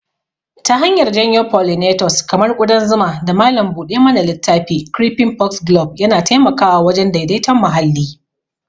Ta hanyar janyo pollinators kamar ƙudan zuma da malam buɗe mana littafi, creeping foxglove yana taimakawa wajen daidaiton muhalli.